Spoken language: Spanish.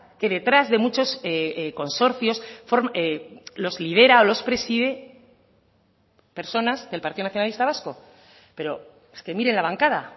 que detrás de muchos consorcios los lidera o los preside personas del partido nacionalista vasco pero es que mire la bancada